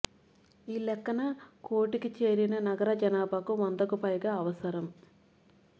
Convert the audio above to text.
ఈ లెక్కన కోటికి చేరిన నగర జనాభాకు వందకు పైగా అవసరం